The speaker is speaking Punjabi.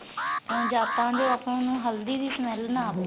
ਜਾ ਤਾਂ ਆਪਾਂ ਨੂੰ ਹਲਦੀ ਦੀ smell ਨਾ ਆਵੇ